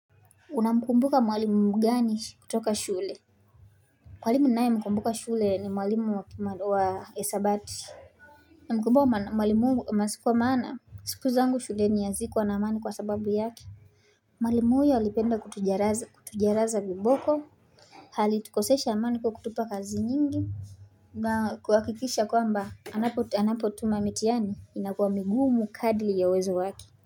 Una mkumbuka mwalimu mgani kutoka shule Mwalimu ninaye mkumbuka shule ni mwalimu wa hisabati na mkumbuka mwalimu kwa maana siku zangu shuleni yazikuwa na amani kwa sababu yake Mwalimu huyu alipenda kutucharaza viboko alitukosesha amani kwa kutupa kazi nyingi na kuhakikisha kwamba anapotuma mitihani inakuwa migumu kadli ya uwezo wake.